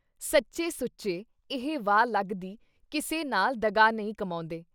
ਸੱਚੇ-ਸੁੱਚੇ, ਇਹ ਵਾਹ ਲੱਗਦੀ ਕਿਸੇ ਨਾਲ ਦਗ੍ਹਾ ਨਹੀਂ ਕਮਾਉਂਦੇ।